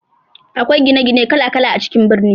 Akwai gine gine kala kala a cikin birni.